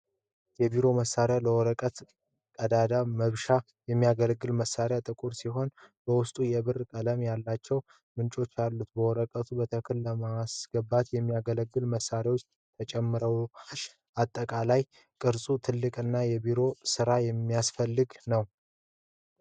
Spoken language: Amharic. የቢሮ መሳሪያ ለወረቀት ቀዳዳ መብሻነት ያገለግላል። መሳሪያው ጥቁር ሲሆን በውስጡ የብር ቀለም ያላቸው ምንጮች አሉት። ወረቀቱን በትክክል ለማስገባት የሚያገለግሉ መመሪያዎች ተጨምረዋል። አጠቃላዩ ቅርጹ ትልቅና ለቢሮ ሥራ የሚያስፈልግ ነው።